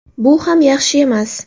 Bu ham yaxshi emas.